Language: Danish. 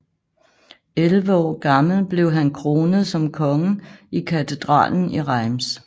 Elleve år gammel blev han kronet som konge i katedralen i Reims